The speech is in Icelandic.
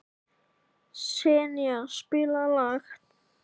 Senía, spilaðu lag.